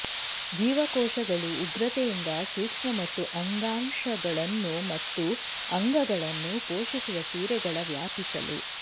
ಜೀವಕೋಶಗಳು ಉಗ್ರತೆಯಿಂದ ಸೂಕ್ಷ್ಮ ಮತ್ತು ಅಂಗಾಂಶಗಳನ್ನು ಮತ್ತು ಅಂಗಗಳನ್ನು ಪೋಷಿಸುವ ಸಿರೆಗಳ ವ್ಯಾಪಿಸಲು